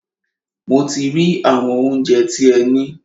Mo ti rí àwọn óunjẹ tí ẹ ní.